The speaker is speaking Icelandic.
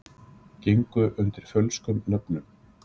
Gengu undir fölskum nöfnum